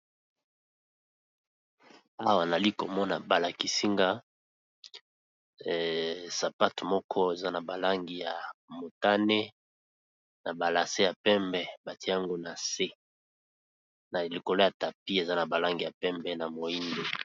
awa nali komona balakisinga sapate moko eza na balangi ya motane na balase ya pembe batiango na se na likolo ya tapi eza na balangi ya pembe na moindo